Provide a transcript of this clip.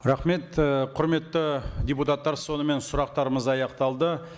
рахмет ы құрметті депутаттар сонымен сұрақтарымыз аяқталды